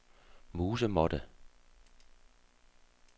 musemåtte